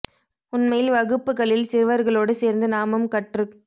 உண்மையில் வகுப்புகளில் சிறுவர்களோடு சேர்ந்து நாமும் கற்றுக்